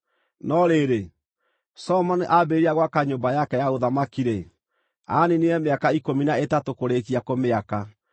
No rĩrĩ, Solomoni aambĩrĩria gwaka nyũmba yake ya ũthamaki-rĩ, aaniinire mĩaka ikũmi na ĩtatũ kũrĩĩkia kũmĩaka.